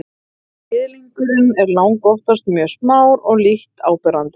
kynliðurinn er langoftast mjög smár og lítt áberandi